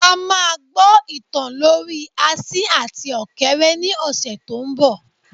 A máa gbọ ìtàn lorí asin àti ọ̀kéré ní ọ̀sẹ̀ tó ń bọ.